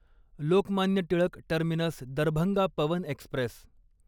Lokmanya Tilak terminus Darbhanga Pawan Express